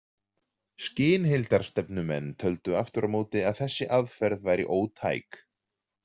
Skynheildarstefnumenn töldu aftur á móti að þessi aðferð væri ótæk.